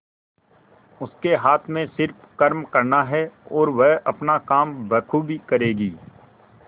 उसके हाथ में सिर्फ कर्म करना है और वह अपना काम बखूबी करेगी